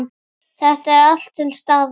Þetta er allt til staðar!